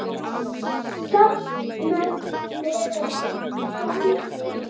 Safnast þegar saman kemur.